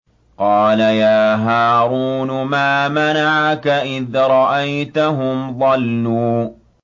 قَالَ يَا هَارُونُ مَا مَنَعَكَ إِذْ رَأَيْتَهُمْ ضَلُّوا